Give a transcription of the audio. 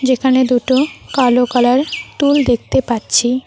এখানে দুটো কালো কালার টুল দেখতে পাচ্ছি।